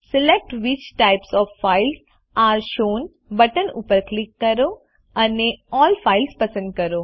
select which types of files are shown button ઉપર click કરો અને અલ્લ ફાઇલ્સ પસંદ કરો